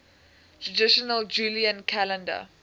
traditional julian calendar